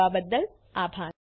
જોડાવા બદ્દલ આભાર